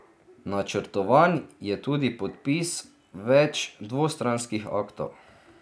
Načrtovan je tudi podpis več dvostranskih aktov.